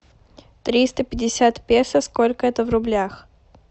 триста пятьдесят песо сколько это в рублях